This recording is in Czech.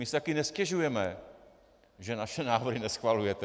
My si také nestěžujeme, že naše návrhy neschvalujete.